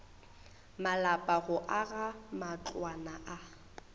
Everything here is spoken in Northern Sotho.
malapa go aga matlwana a